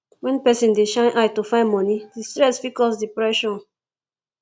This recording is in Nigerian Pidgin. when person dey shine eye to find money di stress fit cause depression